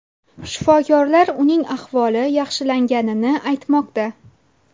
Shifokorlar uning ahvoli yaxshilanganini aytmoqda.